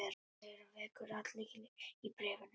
Fleira vekur athygli í bréfinu.